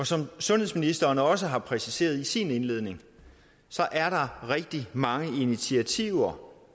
som sundhedsministeren også har præciseret i sin indledning er der rigtig mange initiativer